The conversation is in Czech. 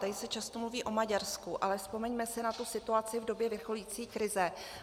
Tady se často mluví o Maďarsku, ale vzpomeňme si na tu situaci v době vrcholící krize.